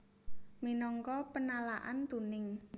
Minangka penalaan tuning